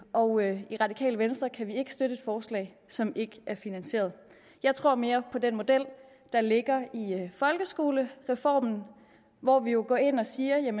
og i radikale venstre kan vi ikke støtte forslag som ikke er finansierede jeg tror mere på den model der ligger i folkeskolereformen hvor vi jo går ind og siger at